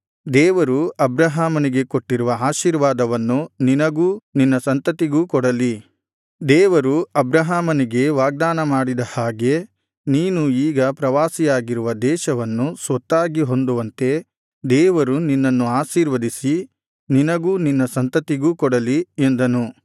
ದೇವರು ಅಬ್ರಹಾಮನಿಗೆ ಕೊಟ್ಟಿರುವ ಆಶೀರ್ವಾದವನ್ನು ನಿನಗೂ ನಿನ್ನ ಸಂತತಿಗೂ ಕೊಡಲಿ ದೇವರು ಅಬ್ರಹಾಮನಿಗೆ ವಾಗ್ದಾನ ಮಾಡಿದ ಹಾಗೆ ನೀನು ಈಗ ಪ್ರವಾಸಿಯಾಗಿರುವ ದೇಶವನ್ನು ಸ್ವತ್ತಾಗಿ ಹೊಂದುವಂತೆ ದೇವರು ನಿನ್ನನ್ನು ಆಶೀರ್ವದಿಸಿ ನಿನಗೂ ನಿನ್ನ ಸಂತತಿಗೂ ಕೊಡಲಿ ಎಂದನು